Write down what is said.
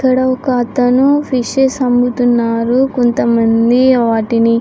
ఇక్కడ ఒక అతను ఫిషెస్ అముతున్నాడు కొంత మంది వాటిని --